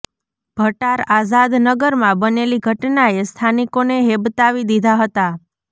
ભટાર આઝાદ નગરમાં બનેલી ઘટનાએ સ્થાનિકોને હેબતાવી દીધા હતા